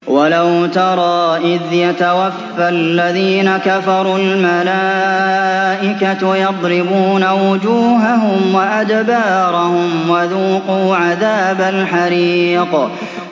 وَلَوْ تَرَىٰ إِذْ يَتَوَفَّى الَّذِينَ كَفَرُوا ۙ الْمَلَائِكَةُ يَضْرِبُونَ وُجُوهَهُمْ وَأَدْبَارَهُمْ وَذُوقُوا عَذَابَ الْحَرِيقِ